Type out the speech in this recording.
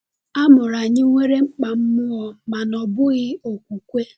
A mụrụ anyị nwere mkpa mmụọ mana ọ bụghị okwukwe.